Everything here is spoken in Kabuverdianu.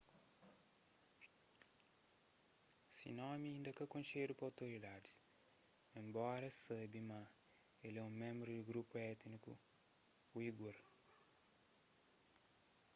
se nomi inda ka konxedu pa otoridadis enbora es sabe ma el é ménbru di grupu étniku uigur